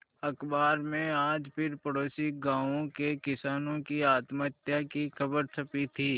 अखबार में आज फिर पड़ोसी गांवों के किसानों की आत्महत्या की खबर छपी थी